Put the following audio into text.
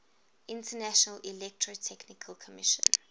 international electrotechnical commission